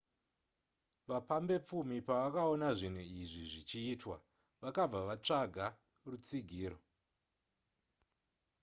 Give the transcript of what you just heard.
vapambepfumi pavakaona zvinhu izvi zvichiitwa vakabva vatsvaga rutsigiro